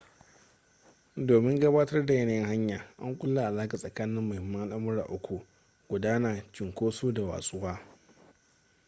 domin gabatar da yanayin hanya an kulla alaƙa tsakanin muhimman al’amura uku: 1 gudana 2 cinkoso da 3 watsuwa